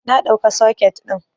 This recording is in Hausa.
Na ɗauka soket ɗin